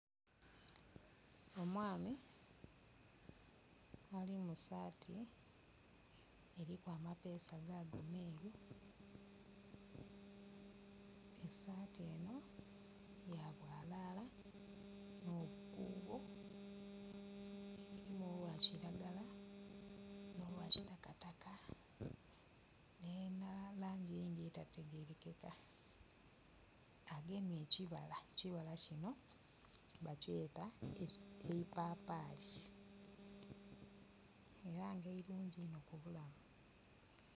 Omwami ali mu saati eriku amapeesa, gaago ameeru. Esaati enho ya bwalala n'obukuubo. Elimu olwa kiragala n'olwa kitakataka. Elina nh'elangi eyindhi etategerekeka. Agemye ekibala, ekibala kinho bakyeeta eipapaali era nga irungi inho ku bulamu.